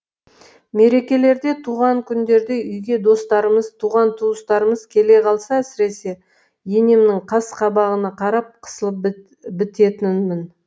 мерекелерде туған күндерде үйге достарымыз туған туыстарымыз келе қалса әсіресе енемнің қас қабағына қарап қысылып бітетінмін